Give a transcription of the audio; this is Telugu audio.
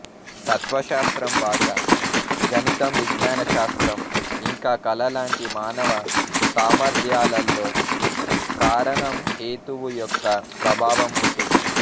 తత్వశాస్త్రం భాష గణితం విజ్ఞానశాస్త్రం ఇంకా కళ లాంటి మానవ సామర్త్యాలలో కారణంహేతువు యొక్క ప్రభావం ఉంటుంది